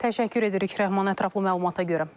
Təşəkkür edirik Rəhman, ətraflı məlumata görə.